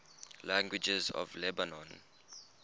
languages of lebanon